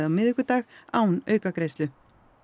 á miðvikudag án aukagreiðslu